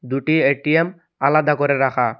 দুটি এ_টি_এম আলাদা করে রাখা।